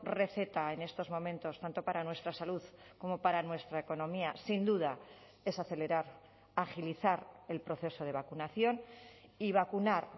receta en estos momentos tanto para nuestra salud como para nuestra economía sin duda es acelerar agilizar el proceso de vacunación y vacunar